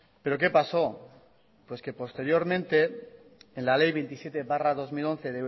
pero qué paso pues que posteriormente en la ley veintisiete barra dos mil once